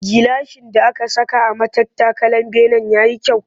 Gilashin da aka saka a matattakalar benen ya yi kyau